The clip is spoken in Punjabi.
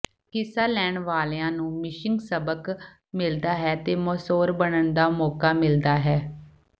ਹਿੱਸਾ ਲੈਣ ਵਾਲਿਆਂ ਨੂੰ ਮਿਸ਼ਿੰਗ ਸਬਕ ਮਿਲਦਾ ਹੈ ਅਤੇ ਮੌਸੋਰ ਬਣਨ ਦਾ ਮੌਕਾ ਮਿਲਦਾ ਹੈ